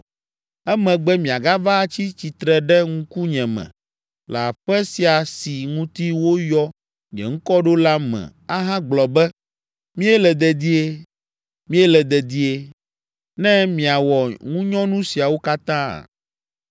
emegbe miagava atsi tsitre ɖe ŋkunye me le aƒe sia si ŋuti woyɔ nye Ŋkɔ ɖo la me ahagblɔ be, “Míele dedie. Míele dedie,” ne miawɔ ŋunyɔnu siawo katã?